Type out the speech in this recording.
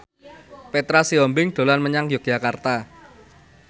Petra Sihombing dolan menyang Yogyakarta